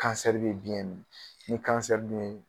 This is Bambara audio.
Kansɛri bɛ biɲɛn minɛ ni kansɛri dun ye